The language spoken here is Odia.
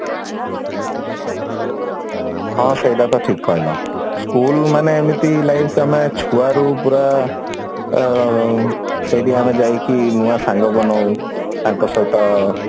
ହଁ ସେଇଟା ତ ଠିକ କହିଲ school ମାନେ ଏମିତି life ପୁରା ଛୁଆରୁ ପୁରା ସେଇଠି ଆମେ ଯାଇକି ନୂଆ ସାଙ୍ଗ ବନାଉ ତାଙ୍କ ସହିତ